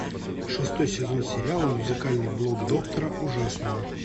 шестой сезон сериала музыкальный блог доктора ужасного